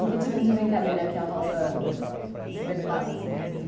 E que tipo de brincadeira que a roça despertava, assim, em vocês?